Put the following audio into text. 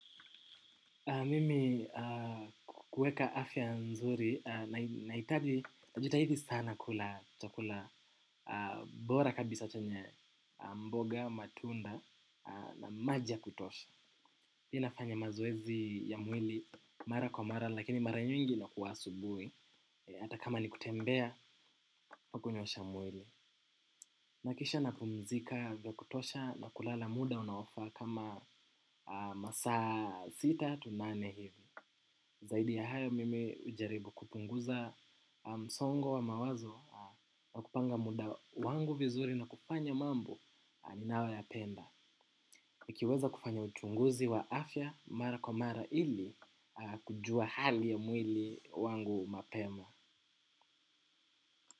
Mimi kuweka afya nzuri naitaji najitahidi sana kula chakula bora kabisa chenye mboga, matunda na maji ya kutosha. Ninafanya mazoezi ya mwili mara kwa mara lakini mara nyingi inakuwa asubui. Hata kama ni kutembea kwa kunyosha mwili. Nakisha napumzika vya kutosha na kulala muda unaofa kama masaa sita tu nane hivi. Zaidi ya hayo mimi ujaribu kupunguza msongo wa mawazo. Na kupanga muda wangu vizuri na kufanya mambo ninayoyapenda nikiweza kufanya uchunguzi wa afya mara kwa mara ili kujua hali ya mwili wangu mapema.